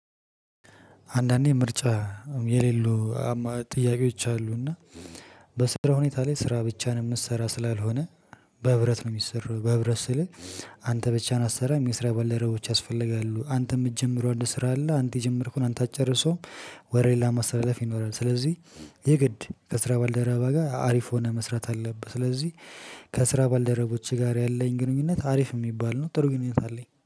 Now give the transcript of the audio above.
አንዳንዴ ምርጫ የሌሉ ጥያቄዎች አሉና በስራ ሁኔታ ላይ ስራ ብቻን ምሰራ ስላልሆነ በህብረት ነው ሚሰራው። በህብረት ስልህ አንተ ብቻን አሰራም የስራ በለረቦች ያስፈልጋሉ። አንተ ምጀምረው አንድ ስራ አለ አንተ የጀመርከውን አንተ አጨርሰውም ወሬላ ማስተላለፍ ይኖራል። ስለዚህ የግድ ከስራ ባልደረባ ጋር አሪፍ ሆነ መስራት አለብህ። ስለዚህ ከስራ ባልደረቦቼ ጋር ያለኝ ግንኙነት አሪፍ ሚባል ነው። ጥሩ ግንኙነት አለኝ